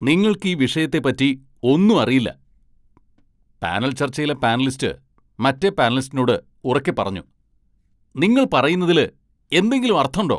നിങ്ങൾക്കീ വിഷയത്തെപ്പറ്റി ഒന്നും അറിയില്ല, പാനൽ ചർച്ചയിലെ പാനലിസ്റ്റ് മറ്റെ പാനലിസ്റ്റിനോട് ഉറക്കെ പറഞ്ഞു. "നിങ്ങൾ പറയുന്നതില് എന്തെങ്കിലും അർത്ഥണ്ടോ"